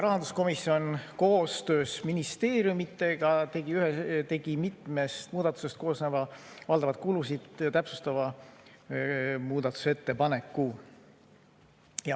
Rahanduskomisjon koostöös ministeeriumitega tegi mitmest muudatusest koosneva valdavalt kulusid täpsustava muudatusettepaneku.